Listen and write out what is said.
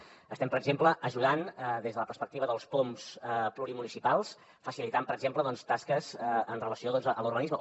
estem ajudant des de la perspectiva dels poms plurimunicipals facilitant per exemple tasques amb relació a l’urbanisme